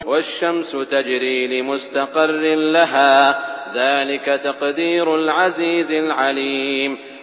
وَالشَّمْسُ تَجْرِي لِمُسْتَقَرٍّ لَّهَا ۚ ذَٰلِكَ تَقْدِيرُ الْعَزِيزِ الْعَلِيمِ